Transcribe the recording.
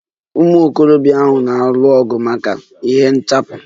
Ụmụ okorobịa ahụ nọ na-alụ ọgụ maka nhichapụ.